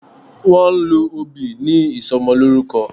Wón ń lọ òbí ní Ìsọmọlọ́rúkọ